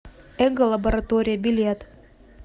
эго лаборатория билет